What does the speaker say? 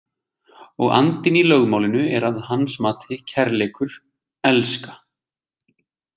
Og andinn í lögmálinu er að hans mati kærleikur, elska.